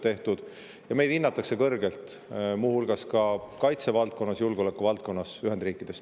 Meid hinnatakse Ühendriikides kõrgelt, muu hulgas ka kaitsevaldkonnas, julgeolekuvaldkonnas.